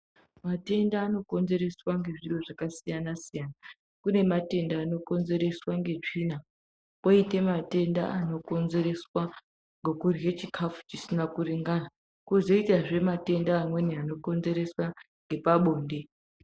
Matenda anokonzereswa ngezviro zvakasiyana-siyana. Kune matenda anokonzereswa ngetsvina, kwoite matenda anokonzereswa ngokurye chikhafu chisina kuringana, kwozoitazve matenda amweni anokonzereswa ngepabonde.